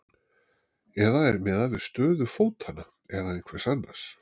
Eða er miðað við stöðu fótanna eða einhvers annars?